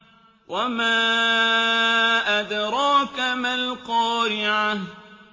وَمَا أَدْرَاكَ مَا الْقَارِعَةُ